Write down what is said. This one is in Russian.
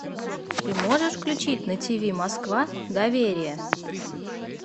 ты можешь включить на ти ви москва доверие